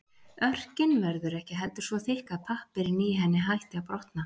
Örkin verður ekki heldur svo þykk að pappírinn í henni hætti að brotna.